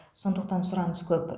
сондықтан сұраныс көп